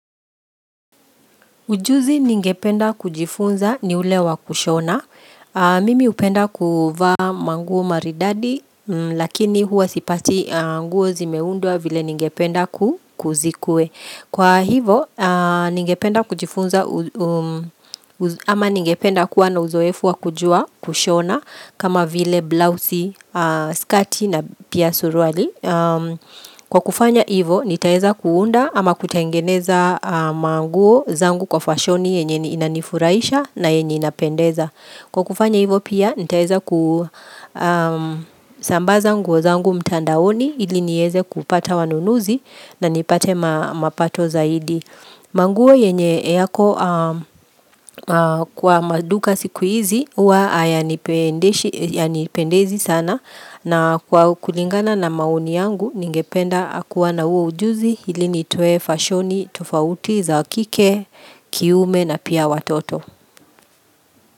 Ujuzi ningependa kujifunza ni ule wa kushona. Mimi upenda kuwa manguo maridadi lakini huwa sipati nguo zimeundua vile ningependa kuzikue. Kwa hivo ningependa kujifunza ama ningependa kuwa na uzoefu wa kujua kushona kama vile blousey, skati na pia suruali. Kwa kufanya ivo nitaeza kuunda ama kutengeneza manguo zangu kwa fashoni yenye inanifuraisha na yenye inapendeza Kwa kufanya ivo pia nitaeza kusambaza nguo zangu mtandaoni ili nieze kupata wanunuzi na nipate mapato zaidi manguo yenye yako kwa maduka sikuizi uwa hayanipendezi sana na kwa kulingana na mauni yangu ningependa kuwa na huo ujuzi ili nitoe fashoni tofauti za wakike kiume na pia watoto.